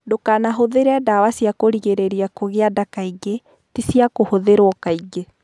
Ndũkanahũthĩre ndawa cia kũgirĩrĩria kũgĩa nda kaingĩ; ti cia kũhũthĩrũo kaingĩ.